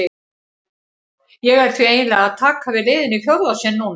Ég er því eiginlega að taka við liðinu í fjórða sinn núna.